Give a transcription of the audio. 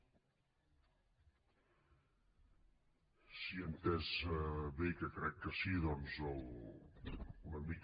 si ho he entès bé que crec que sí doncs una mica